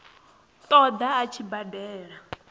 ṱo ḓa a tshi badela